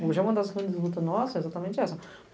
Hoje é uma das grandes lutas nossas, é exatamente essa.